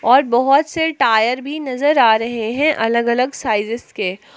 और बहुत से टायर भी नजर आ रहे है अलग अलग साइजेज के।